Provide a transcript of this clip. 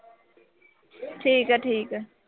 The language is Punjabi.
ਠੀਕ ਆ ਠੀਕ ਆ।